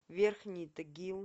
верхний тагил